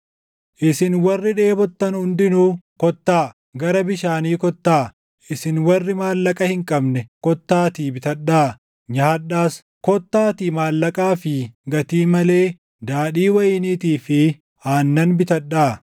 “Isin warri dheebottan hundinuu kottaa; gara bishaanii kottaa; isin warri maallaqa hin qabne, kottaatii bitadhaa; nyaadhaas! Kottaatii maallaqaa fi gatii malee daadhii wayiniitii fi aannan bitadhaa.